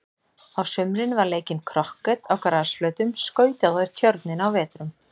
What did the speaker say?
Á sumrin var leikinn krokket á grasflötum, skautað á tjörninni á vetrum.